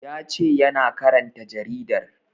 Ya ce yana karanta jaridar